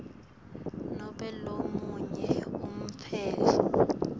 nobe lomunye umtsetfo